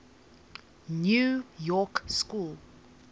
new york school